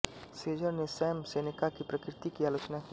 शेजर ने Sam Seneca की प्रकृति की आलोचना की